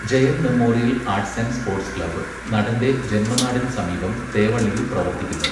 Jayan memorial arts and sports club നടന്റെ ജന്മനാടിന് സമീപം തേവള്ളിയിൽ പ്രവർത്തിക്കുന്നു.